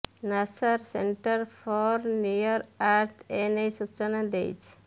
ନାସାର centre for near earth ଏନେଇ ସୂଚନା ଦେଇଛି